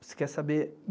Você quer saber?